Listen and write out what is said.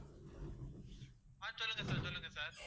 ஆஹ் சொல்லுங்க sir சொல்லுங்க sir